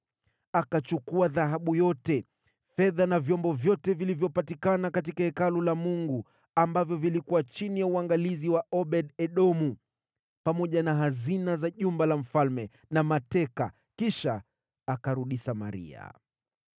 Akachukua dhahabu yote, fedha na vyombo vyote vilivyopatikana katika Hekalu la Mungu, ambavyo vilikuwa chini ya uangalizi wa Obed-Edomu, pamoja na hazina za jumba la mfalme na mateka, kisha akarudi Samaria.